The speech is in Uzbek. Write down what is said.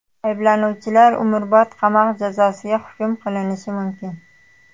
Ayblanuvchilar umrbod qamoq jazosiga hukm qilinishi mumkin.